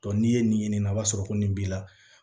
n'i ye nin ɲini nin na o b'a sɔrɔ ko nin b'i la